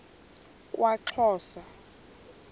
kwaxhosa